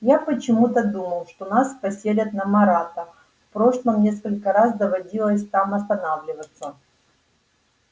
я почему-то думал что нас поселят на марата в прошлом несколько раз доводилось там останавливаться